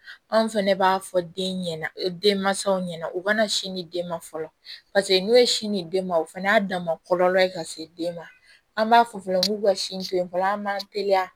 Anw fɛnɛ b'a fɔ den ɲɛna denmansaw ɲɛna u ka na sin di den ma fɔlɔ paseke n'o ye sin di den ma o fana y'a dama kɔlɔlɔ ye ka se den ma an b'a fɔ fɛnɛ k'u ka sin to yen fɔlɔ an b'an teliya